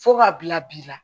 Fo k'a bila bi la